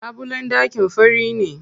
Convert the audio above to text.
Labulen ɗakin fari ne.